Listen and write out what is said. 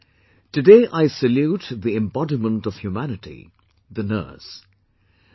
Friends, today I salute the embodiment of humanity...the Nurse